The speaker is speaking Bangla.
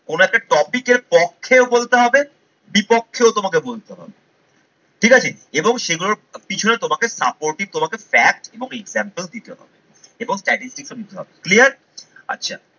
কোন একটা topic এর পক্ষেও বলতে হবে বিপক্ষেও তোমাকে বলতে হবে ঠিক আছে এবং সেগুলোর পিছনে তোমাকে supportive তোমাকে facts এবং example দিতে হবে এবং statistics ও দিতে হবে clear আচ্ছা